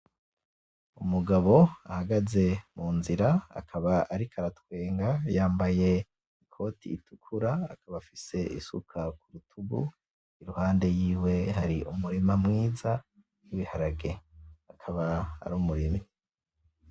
Umugabo ahagaze ku nzira, akaba ariko aratwenga. Yambaye ikoti ritukura, akaba afise isuka , iruhande yiwe hari umurima mwiza w’ ibiharage akaba ari umurimyi.